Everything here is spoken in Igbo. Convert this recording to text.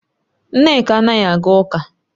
Nneka anaghi aga uka